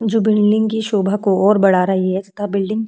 जो बिल्डिंग की सोभा को और बढ़ा रही है। इसका बिल्डिंग --